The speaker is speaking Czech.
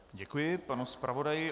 Děkuji panu zpravodaji.